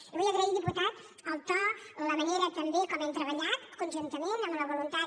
li vull agrair diputat el to la manera també com hem treballat conjuntament amb la voluntat